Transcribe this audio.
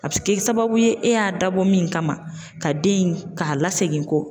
A bɛ se kɛ sababu ye e y'a dabɔ min kama ka den in ka lasegin kɔ.